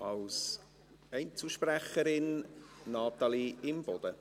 Als Einzelsprecherin spricht Natalie Imboden.